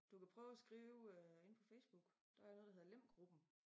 Du kan prøve at skrive øh inde på Facebook der er noget der hedder Lem gruppen